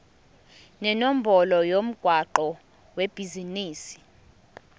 nenombolo yomgwaqo webhizinisi